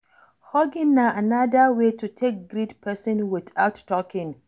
Hugging na anoda way to take greet person without talking